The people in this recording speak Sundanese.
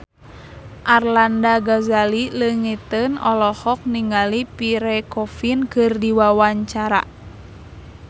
Arlanda Ghazali Langitan olohok ningali Pierre Coffin keur diwawancara